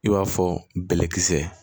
I b'a fɔ bɛlɛkisɛ